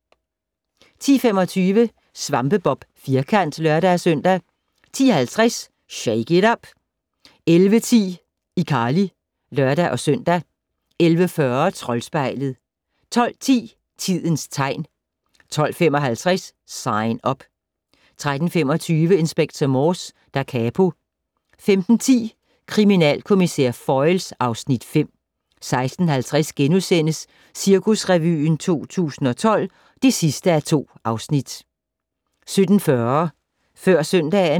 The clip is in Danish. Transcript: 10:25: SvampeBob Firkant (lør-søn) 10:50: Shake it up! 11:10: iCarly (lør-søn) 11:40: Troldspejlet 12:10: Tidens tegn 12:55: Sign Up 13:25: Inspector Morse: Da capo 15:10: Kriminalkommissær Foyle (Afs. 5) 16:50: Cirkusrevyen 2012 (2:2)* 17:40: Før søndagen